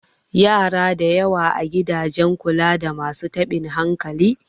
yara da yawa a gidan kula da masu tabin hankali